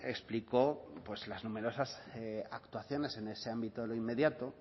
explicó las numerosas actuaciones en ese ámbito de lo inmediato